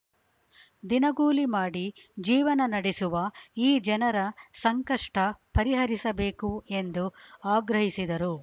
ದಿನಗೂಲಿಮಾಡಿ ಜೀವನ ನಡೆಸುವ ಈ ಜನರ ಸಂಕಷ್ಟಪರಿಹರಿಸಬೇಕು ಎಂದು ಆಗ್ರಹಿಸಿದರು